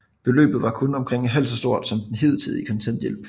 Beløbet var omkring halvt så stort som den hidtidige kontanthjælp